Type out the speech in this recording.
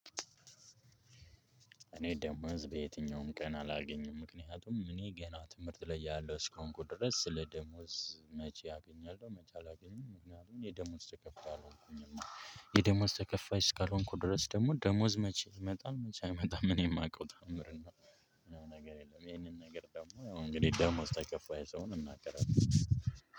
እኔ ደሞዝ በየትኛውም ቀን አላገኝም። ምክንያቱም እኔ ገና ትምህርት ላይ ያለው እስከሆንኩ ድረስ ስለ ደሞዝ መቼ አገኛለሁ? መቼ አላገኝም? ምክንያቱም የደሞዝ ተከፋይ አልሆንኩኝም። የደሞዝ ተከፋይ እስካልሆንኩ ድረስ ደግሞ ደሞዝ መቼ ይመጣል? መቼ አይመጣም? እኔ የማውቀው ታዕምር ነው። ምናምን ነገር የለም። ይሄንን ነገር ደግሞ እንግዲህ ደግሞ ስታይከፋ የስሆን እናገራለው።